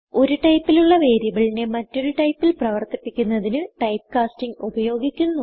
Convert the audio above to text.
ഒരു ടൈപ്പിലുള്ള വേരിയബിളിനെ മറ്റൊരു ടൈപ്പിൽ പ്രവർത്തിപ്പിക്കുന്നതിന് ടൈപ്പ്കാസ്റ്റിംഗ് ഉപയോഗിക്കുന്നു